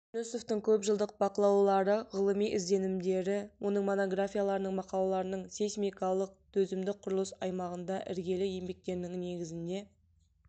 жүнісовтың көп жылдық бақылаулары ғылыми ізденімдері оның монографияларының мақалаларының сейсмикалық төзімді құрылыс аймағында іргелі еңбектерінің негізіне